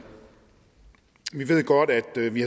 godt at vi